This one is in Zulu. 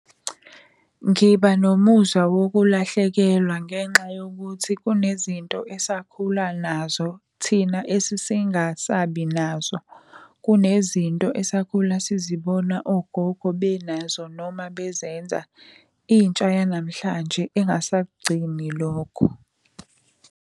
Ngiba nomuzwa wokulahlekelwa ngenxa yokuthi kunezinto esakhula nazo, thina esesingasabi nazo. Kunezinto esakhula sizibona ogogo benazo noma bezenza, intsha yanamhlanje engasakugcini lokho.